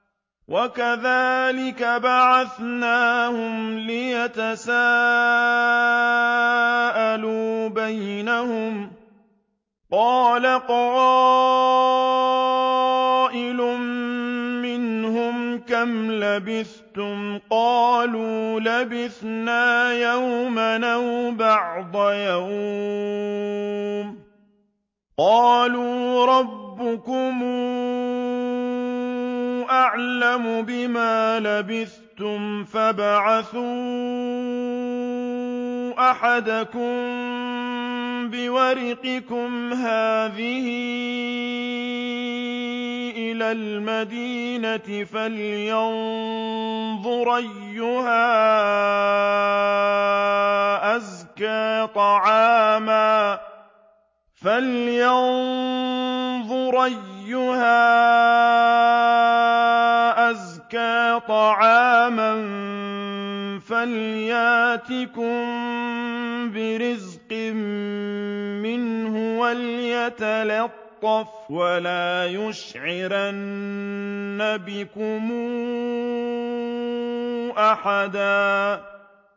وَكَذَٰلِكَ بَعَثْنَاهُمْ لِيَتَسَاءَلُوا بَيْنَهُمْ ۚ قَالَ قَائِلٌ مِّنْهُمْ كَمْ لَبِثْتُمْ ۖ قَالُوا لَبِثْنَا يَوْمًا أَوْ بَعْضَ يَوْمٍ ۚ قَالُوا رَبُّكُمْ أَعْلَمُ بِمَا لَبِثْتُمْ فَابْعَثُوا أَحَدَكُم بِوَرِقِكُمْ هَٰذِهِ إِلَى الْمَدِينَةِ فَلْيَنظُرْ أَيُّهَا أَزْكَىٰ طَعَامًا فَلْيَأْتِكُم بِرِزْقٍ مِّنْهُ وَلْيَتَلَطَّفْ وَلَا يُشْعِرَنَّ بِكُمْ أَحَدًا